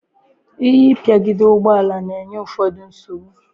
ihe ipigide ugboala na-enye ụfọdụ nsogbu.